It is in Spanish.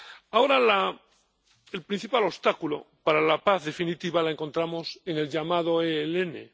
Ahora el principal obstáculo para la paz definitiva lo encontramos en el llamado ELN.